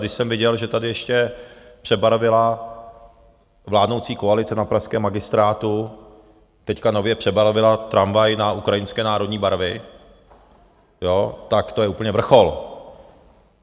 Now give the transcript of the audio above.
Když jsem viděl, že tady ještě přebarvila vládnoucí koalice na pražském magistrátu, teď nově přebarvila tramvaj na ukrajinské národní barvy, tak to je úplně vrchol.